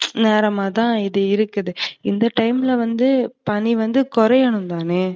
வாரமாதா இதுவந்து இருக்குது. இந்த time ல வந்து பனி வந்து கொறையனும் தான?